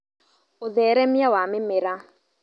ũtheremia wa mĩmera